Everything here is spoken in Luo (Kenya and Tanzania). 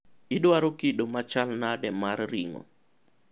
idwaro kido machal nade mar ring'o?